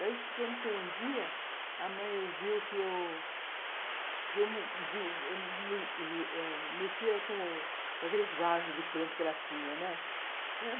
Desde que, quando foi um dia, a mãe viu que eu que eu mexia com com aqueles vasos de planta que ela tinha, né